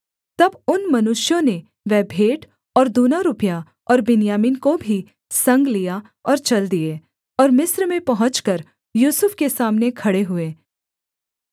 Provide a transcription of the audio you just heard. तब उन मनुष्यों ने वह भेंट और दूना रुपया और बिन्यामीन को भी संग लिया और चल दिए और मिस्र में पहुँचकर यूसुफ के सामने खड़े हुए